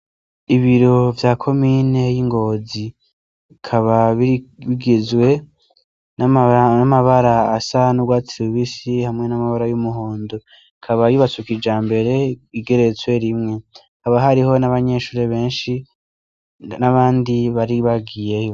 Ibiro vya komine yingozi bikaba bigizwe namabara asa nurwatsi rubisi hamwe namabara yumuhondo ikaba yubatse kijambere igeretse rimwe hakaba hariho nabanyeshure benshi nabandi bari bagiyeyo